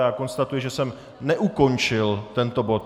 Já konstatuji, že jsem neukončil tento bod.